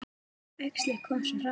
Æxlið kom svo hratt.